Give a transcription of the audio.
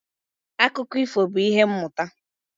Akụkọ ifo bụ ìhè mmụta